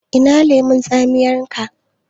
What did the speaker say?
Ina lemon tsaminka?